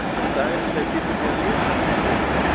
Í staðinn ætla ég að biðja þig að lesa hana í kvöld!